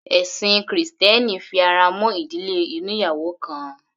Ẹ̀sin krìstẹ́nì fi ara mọ́ ìdílé oníyàwò kan.